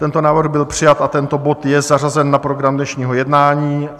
Tento návrh byl přijat a tento bod je zařazen na program dnešního jednání.